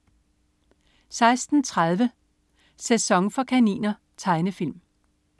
16.30 Sæson for kaniner. Tegnefilm